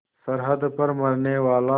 सरहद पर मरनेवाला